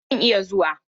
I mana! Zan iya zuwa.